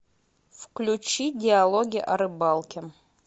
включи диалоги о рыбалке